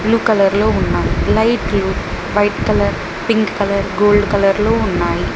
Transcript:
Blue colour లో ఉన్నాయ్ లైట్లు white colour pink colour gold colour లో ఉన్నాయి.